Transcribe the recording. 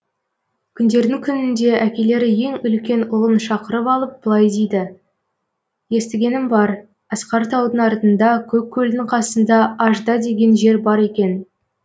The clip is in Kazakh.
күндердің күнінде әкелері ең үлкен ұлын шақырып алып былай дейді естігенім бар асқар таудың артында көк көлдің қасында ажда деген жер бар екен